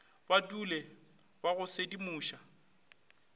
ba dule ba go sedimoša